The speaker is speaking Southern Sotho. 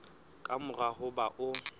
ka mora ho ba o